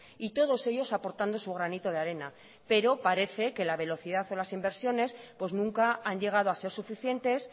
y todos ellos aportando su granito de arena pero parece que la velocidad o las inversiones pues nunca han llegado a ser suficientes